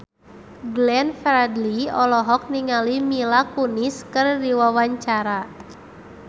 Glenn Fredly olohok ningali Mila Kunis keur diwawancara